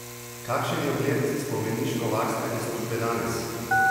Kakšen je ugled spomeniškovarstvene službe danes?